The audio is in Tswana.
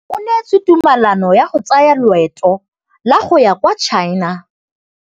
O neetswe tumalanô ya go tsaya loetô la go ya kwa China.